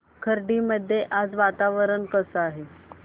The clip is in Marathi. खर्डी मध्ये आज वातावरण कसे आहे